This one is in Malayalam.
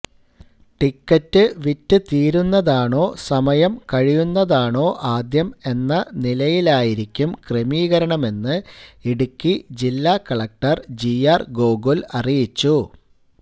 ടിക്കറ്റ് വിറ്റുതീരുന്നതാണോ സമയം കഴിയുന്നതാണോ ആദ്യം എന്ന നിലയിലായിരിക്കും ക്രമീകരണമെന്ന് ഇടുക്കി ജില്ലാ കലക്ടര് ജി ആര് ഗോകുല് അറിയിച്ചു